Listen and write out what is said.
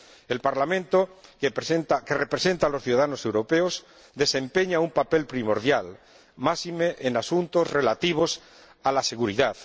El Parlamento, que representa a los ciudadanos europeos, desempeña un papel primordial, máxime en asuntos relativos a la seguridad.